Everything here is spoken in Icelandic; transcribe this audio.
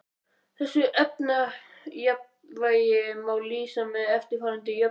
Þessu efnajafnvægi má lýsa með eftirfarandi jöfnum